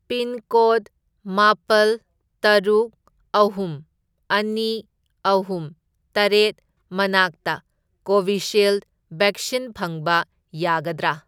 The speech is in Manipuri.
ꯄꯤꯟꯀꯣꯗ ꯃꯥꯄꯜ, ꯇꯔꯨꯛ, ꯑꯍꯨꯝ, ꯑꯅꯤ, ꯑꯍꯨꯝ, ꯇꯔꯦꯠ ꯃꯅꯥꯛꯇ ꯀꯣꯚꯤꯁꯤꯜꯗ ꯚꯦꯛꯁꯤꯟ ꯐꯪꯕ ꯌꯥꯒꯗ꯭ꯔꯥ?